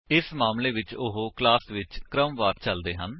ਇਸ ਮਾਮਲੇ ਵਿੱਚ ਉਹ ਕਲਾਸ ਵਿੱਚ ਕ੍ਰਮਵਾਰ ਚਲਦੇ ਹਨ